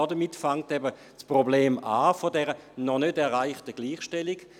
Damit beginnt das Problem der noch nicht erreichten Gleichstellung.